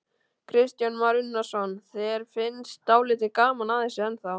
Kristján Már Unnarsson: Þér finnst dálítið gaman að þessu ennþá?